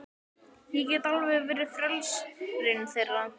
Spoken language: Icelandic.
Ég get alveg verið frelsarinn þeirra.